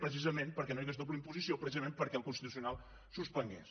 precisament perquè no hi hagués doble imposició precisament perquè el constitucional suspengués